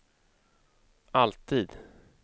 alltid